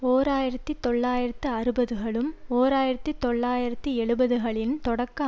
ஓர் ஆயிரத்தி தொள்ளாயிரத்து அறுபதுகளும் ஓர் ஆயிரத்தி தொள்ளாயிரத்தி எழுபதுகளின் தொடக்க